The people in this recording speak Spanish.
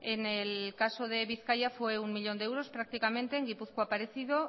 en el caso de bizkaia fue un millón de euros prácticamente en gipuzkoa parecido